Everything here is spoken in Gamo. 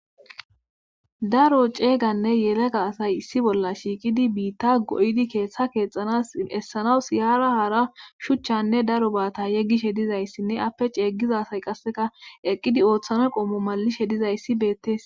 Daro ceeyganne yelega asay issi bolla shiiqidi biitta go7di keeththa keexxanas essanaw siyaara hara shuchchanne daro baata yeggishe dizayssinne appe ceeggiza say qasseka eqqidi ooththanoy qoomo malishe dizayssi beettes.